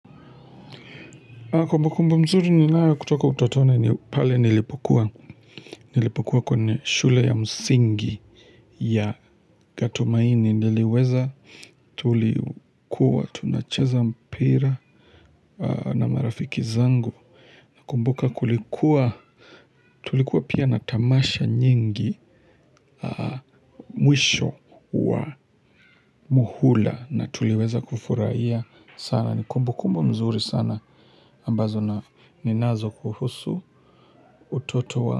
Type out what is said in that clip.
Kumbu kumbu mzuri ninayo kutoka utotoni ni pale nilipokuwa kwene shule ya msingi ya gatumaini niliweza tulikuwa tunacheza mpira na marafiki zangu na kumbuka kulikuwa tulikuwa pia natamasha nyingi mwisho wa muhula na tuliweza kufurahia sana. Ni kumbu kumbu mzuri sana ambazo na ninazo kuhusu utoto wa.